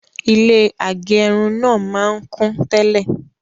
Ilé agẹrun náà máa n kún tẹ́lẹ̀